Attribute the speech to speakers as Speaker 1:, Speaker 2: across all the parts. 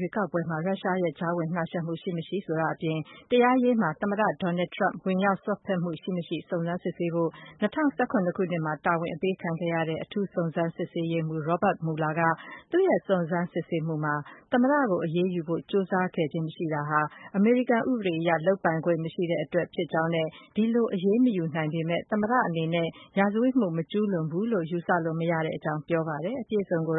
Speaker 1: ရွေးကောက်ပွဲမှာ ရုရှားရဲ့ ကြားဝင်နှောက်ယှက်မှု ရှိမရှိဆိုတာ အပြင် တရားရေးမှာ သမ္မတ Donald Trump ဝင်ရောက်စွက်ဖက်မှု ရှိမရှိ စုံစမ်းစစ်ဆေးဖို့ ၂၀၁၇ မှာ တာဝန်အပေးခံခဲ့ရတဲ့ အထူးစုံစမ်းရေးမှုး Robert Mueller က သူ့ရဲ့ စုံစမ်းစစ်ဆေးမှုမှာ သမ္မတကို အရေးယူဖို့ ကြိုးစားခဲ့ခြင်း မရှိတာဟာ အမေရိကန် တရားဥပဒေအရ လုပ်ပိုင်ခွင် မရှိတဲ့အတွက် ဖြစ်ကြောင်းနဲ့ ဒီလို အရေးမယူနိုင် ပေမယ့်လည်း သမ္မတ အနေနဲ့ ရာဇဝတ်မှု မကျူးလွန်ဘူးလို့ ယူဆလို့ မရကြောင်း ပြောကြားလိုက်ပါတယ်။ အပြည့်အစုံကို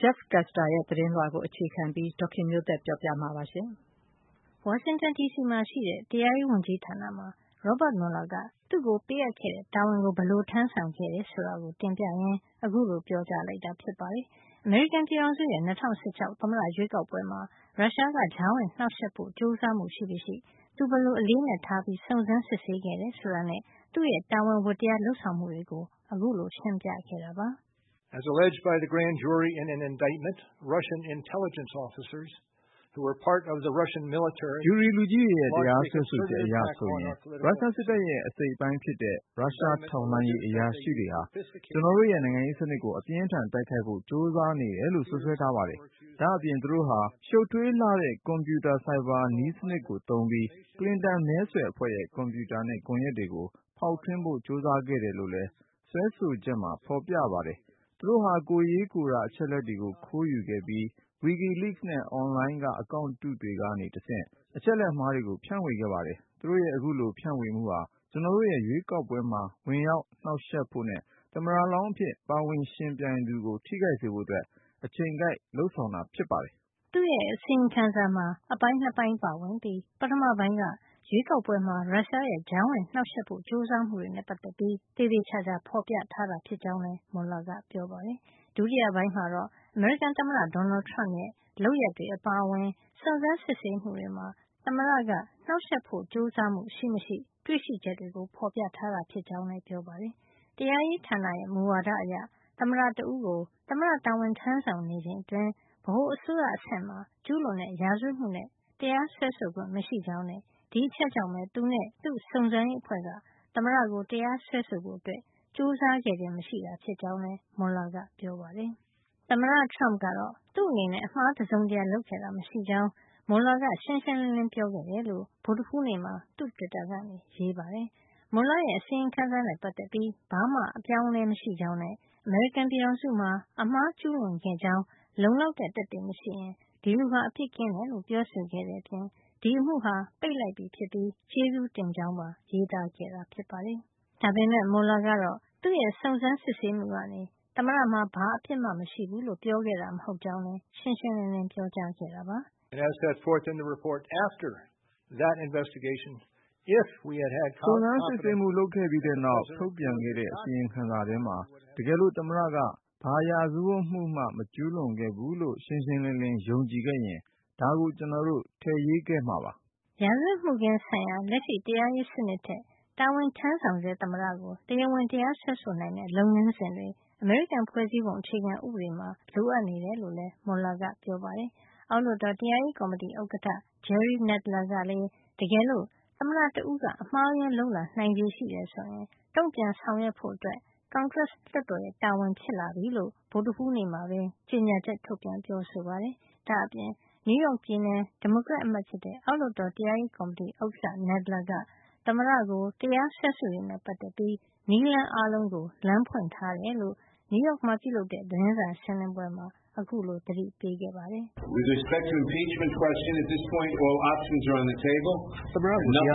Speaker 1: Jeff Custer ရဲ့ သတင်းလွှာကို အခြေခံပြီး ဒေါ်ခင်မျိုးသက်က ပြောပြပေးမှာပါ။ ဝါရှင်တန်ဒီစီမှာရှိတဲ့ တရားရေးဝန်ကြီးဌာန မှာ Robert Mueller က သူ့ကို ပေးအပ်ခဲ့တဲ့ တာဝန်ကို ဘယ်လို ထမ်းဆောင်ခဲ့တယ် ဆိုတာကို တင်ပြရင်း အခုလို ပြောကြားလိုက်တာ ဖြစ်ပါတယ်။ အမေရိကန်ပြည်ထောင်စုရဲ့ ၂၀၁၆ သမ္မတရွေးကောက်ပွဲမှာ ရုရှားက ကြားဝင်နှောက်ယှက် ဖို့ ကြိုးစားမှု ရှိမရှိ သူ ဘယ်လို အလေးနက်ထားပြီး စုံစမ်းစစ်ဆေးခဲ့တယ် ဆိုတာနဲ့ သူ့ရဲ့ တာဝန်ဝတ္တရား လုပ်ဆောင်မှုတွေကို ခုလိုရှင်းပြခဲ့တာပါ။ “ ဂျူရီ
Speaker 2: လူကြီးတွေရဲ့ တရားစွဲဆိုချက် အရဆိုရင် ရုရှားစစ်တပ်ရဲ့ အစိတ်အပိုင်းဖြစ်တဲ့ ရုရှား ထောက်လှမ်းရေးအရာရှိတွေဟာ ကျနော်တို့ရဲ့ နိုင်ငံရေးစနစ်ကို အပြင်းအထန် တိုက်ခိုက်ဖို့ ကြိုးစားနေတယ်လို့ စွပ်စွဲထားပါတယ်။ ဒါ့အပြင် သူတို့ဟာ ရှုပ်ထွေးလှတဲ့ ကွန်ပြူတာ ဆိုင်ဘာနည်းစနစ်တွေကို သုံးပြီး Clinton မဲဆွယ်အဖွဲ့ရဲ့ ကွန်ပြူတာနဲ့ ကွန်ယက်တွေကို ဖေါက်ထွင်းဖို့ ကြိုးစားခဲ့တယ် လို့လည်း စွဲဆိုချက်မှာ ဖေါ်ပြထားပါတယ်။ သူတို့ဟာ ကိုယ်ရေးကိုယ်တာ အချက်အလက်တွေကို ခိုးယူခဲ့ပြီး WikiLeaks နဲ့ အွန်လိုင်းက အကောင့်အတုတွေ ကနေ တဆင့် အချက်လက် အမှားတွေကို ဖြန့်ဝေခဲ့ပါတယ်။ သူတို့ရဲ့ အခုလို ဖြန့်ဝေမှုဟာ ကျနော်တို့ရဲ့ ရွေးကောက်ပွဲမှာ ဝင်နှောက်ယှက်ဖို့နဲ့ သမ္မတလောင်းအဖြစ်ပါဝင်ယှဉ်ပြိုင်သူကို ထိခိုက်စေဖို့ အတွက် အချိန်ကိုက် လုပ်ဆောင်တာ ဖြစ်ပါတယ်
Speaker 1: ။” သူ့ရဲ့ အစီရင်ခံစာမှာ အပိုင်း ၂ ပိုင်း ပါဝင်ပြီး ပထမပိုင်းက ရွေးကောက်ပွဲမှာ ရုရှားရဲ့ ကြားဝင်နှောက်ယှက်ဖို့ ကြိုးစားမှုတွေနဲ့ ပတ်သက်ပြီး သေသေချာချာ ဖေါ်ပြထားတာ ဖြစ်ကြောင်းလည်း Mueller ကပြောပါတယ်။ ဒုတိယပိုင်းမှာတော့ အမေရိကန်သမ္မတ Donald Trump ရဲ့ လုပ်ရပ်တွေ အပါအဝင် စုံစမ်းစစ်ဆေးမှုတွေမှာ သမ္မတက နှောက်ယှက်ဖို့ ကြိုးစားမှု ရှိမရှိ တွေ့ရှိချက်တွေကို ဖေါ်ပြထားတာ ဖြစ်ကြောင်းလည်း ပြောပါတယ်။ တရားရေးဌာနရဲ့ မူဝါဒအရ သမ္မတ တဦးကို သမ္မတတာဝန် ထမ်းဆောင်နေချိန်အတွင်း ဗဟိုအစိုးရ အဆင့်မှာ ကျူးလွန်တဲ့ ရာဇဝတ်မှုနဲ့ တရားစွဲဆိုခွင့် မရှိကြောင်းနဲ့ ဒီအချက်ကြောင့် သူနဲ့ သူ့စုံစမ်းရေးအဖွဲ့က သမ္မတကို တရားစွဲဆိုဖို့ ကြိုးစားခြင်း မရှိခဲ့တာ ဖြစ်ကြောင်းလည်း Mueller ကပြောပါတယ်။ သမ္မတ Trump ကတော့ သူ့အနေနဲ့ အမှားတစုံတရာ လုပ်ခဲ့တာမရှိကြောင်း Mueller က ရှင်းရှင်းလင်းလင်း ပြောခဲ့တယ်လို့ ဗုဒ္ဓဟူးနေ့မှာ သူ့တွစ်တာကနေ ရေးပါတယ်။ Mueller ရဲ့ အစီရင်ခံစာနဲ့ ပတ်သက်ပြီး ဘာမှ အပြောင်းအလဲ မရှိကြောင်းနဲ့ အမေရိကန်ပြည်ထောင်စုမှာ အမှားကျူးလွန်ခဲ့ကြောင်း လုံလောက်တဲ့ သက်သေမရှိရင် ဒီလူဟာ အပြစ်ကင်းတယ်လို့ ပြောဆိုခဲ့တဲ့အပြင် ဒီအမှုဟာ ပိတ်လိုက်ပြီဖြစ်ပြီး ကျေးဇူးတင်ကြောင်းပါ ရေးသားခဲ့တာပါ။ ဒါပေမယ့် Mueller ကတော့ သူ့ရဲ့ စုံစမ်းစစ်ဆေးမှုကနေ သမ္မတမှာ ဘာအပြစ်မှ မရှိဘူးလို့ ပြောခဲ့တာ မဟုတ်ကြောင်းလည်း ရှင်းရှင်းလင်းလင်း ပြောခဲ့ပါ
Speaker 2: တယ်။ "စုံစမ်းစစ်ဆေးမှု လုပ်ခဲ့ပြီးတဲ့နောက် ထုတ်ပြန်ခဲ့တဲ့ အစီရင်ခံစာထဲမှာ တကယ်လို့ သမ္မတက ဘာရာဇဝတ်မှုမှ မကျူးလွန်ခဲ့ဘူးလို့ ရှင်းရှင်းလင်းလင်း ယုံကြည်ခဲ့ရင် ဒါကို ကျနော်တို့ ထည့်ရေးခဲ့မှာပါ
Speaker 1: ။” ရာဇဝတ်မှုခင်းဆိုင်ရာမှာ လက်ရှိ တရားရေးစနစ်ထက် တာဝန်ထမ်းဆောင်ဆဲ သမ္မတကို တရားဝင် တရားစွဲဆိုနိုင်မယ့် လုပ်ငန်းစဉ်တွေ အမေရိကန် ဖွဲ့စည်းပုံ အခြေခံဥပဒေမှာ လိုအပ်နေတယ်လို့လည်း Mueller ကပြောပါတယ်။ အောက်လွှတ်တော် တရားရေးကော်မတီ ဥက္ကဌ Jerry Nadler ကလည်း တကယ်လို့ သမ္မတတဦးက အမှားအယွင်းလုပ်လာ နိုင်ခြေရှိရင် တုန့်ပြန်ဆောင်ရွက်ဖို့ ကွန်ဂရက်လွှတ်တော်ရဲ့ တာဝန် ဖြစ်လာပြီလို့ ဗုဒ္ဓဟူးနေ့မှာပဲ ကြေညာချက် ထုတ်ပြန် ပြောဆိုပါတယ်။ ဒါ့အပြင် နယူးယောက် ပြည်နယ် ဒီမိုကရက် အမတ်ဖြစ်တဲ့ အောက်လွှတ်တော် တရားရေးကော်မတီဥက္ကဌ Nadler က သမ္မတကို တရားစွဲဆိုရေးနဲ့ ပတ်သက်ပြီး နည်းလမ်းအားလုံးကို လမ်းဖွင့်ထားတယ်လို့ နယူးယောက်မှာ ပြုလုပ်တဲ့ သတင်းစာရှင်းလင်းပွဲမှာ အခုလို သတိပေးခဲ့ပါတယ်။
Speaker 2: “သမ္မတကို တရားစွဲဆိုရေးဆိုင်ရာ မေးခွန်းတွေနဲ့ ပတ်သက်ပြီး ပြောရရ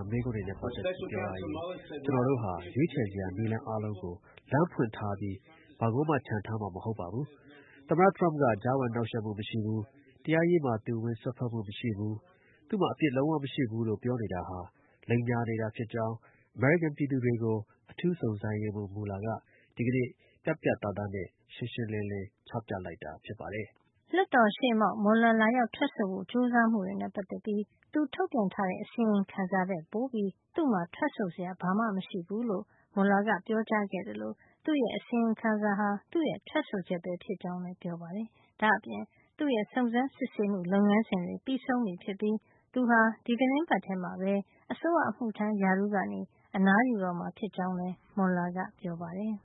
Speaker 2: င် ကျနော်တို့ဟာ ရွေးချယ်စရာ နည်းလမ်းအားလုံးကို လမ်းဖွင့်ထားပြီး ဘာကိုမှ ချန်ထားမှာ မဟုတ်ပါဘူး။ သမ္မတ Trump ကကြားဝင်နှောက်ယှက်မှု မရှိဘူး။ တရားရေးမှာ သူဝင်စွက်မှုမရှိဘူး၊ သူ့မှာ အပြစ်လုံးဝ မရှိဘူးလို့ ပြောနေတာဟာ လိမ်ညာနေတာ ဖြစ်ကြောင်း အမေရိကန် ပြည်သူတွေကို အထူးစုံစမ်းရေးမှု Mueller က ဒီကနေ့ ပြတ်ပြတ်သားသားနဲ့ ရှင်းရှင်းလင်းလင်း ချပြလိုက်တာ ဖြစ်ပါတယ်
Speaker 1: ။” ကွန်ဂရက်လွှတ်တော်ရှေ့မှောက် Mueller လာရောက် ထွက်ဆိုဖို့ ကြိုးစာမှုတွေနဲ့ ပတ်သက်ပြီး သူထုတ်ပြန်ထားတဲ့ အစီရင်ခံစာ ထက်ပိုပြီး သူ့မှာ ထွက်ဆိုစရာ ဘာမှ မရှိဘူးလို့ Mueller က ပြောကြားခဲ့သလို သူ့ရဲ့ အစီရင်ခံစာဟာ သူ့ရဲ့ ထွက်ဆိုချက်ပဲ ဖြစ်ကြောင်းလည်း ပြောပါတယ်။ ဒါ့အပြင် သူ့ရဲ့ စုံစမ်းစစ်ဆေးမှု လုပ်ငန်းစဉ်တွေ ပြီးဆုံးပြီဖြစ်ပြီး သူဟာ ဒီသီတင်းပတ်ထဲမှာပဲ အစိုးရအမှုထမ်း ရာထူးကနေ အနားယူတော့မှာ ဖြစ်ကြောင်းလည်း Mueller က ပြောပါတယ်